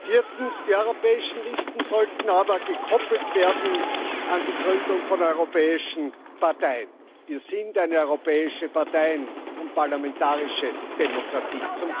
Viertens Die europäischen Listen sollten aber gekoppelt werden an die Gründung von europäischen Parteien wir sind eine europäische Parteien und parlamentarische Demokratie.